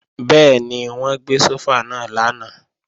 Bẹ́ẹ̀ni, wọ́n gbé sófà náà lánàá